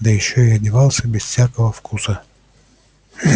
да ещё и одевался безо всякого вкуса